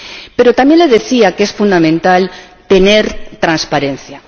Pero también le decía que es fundamental tener transparencia.